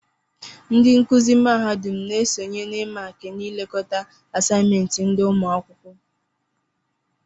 Ndị nkụzi mahadum na-esonye n'ịmààkị na ịlekọta àsáyịméntị ndị ụmụakwụkwọ